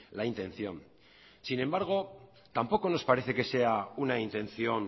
la intención sin embargo tampoco nos parece que sea una intención